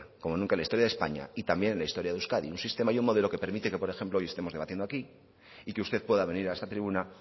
como nunca en la historia de españa y también en la historia de euskadi un sistema y un modelo que permite que por ejemplo hoy estemos debatiendo aquí y que usted pueda venir a esta tribuna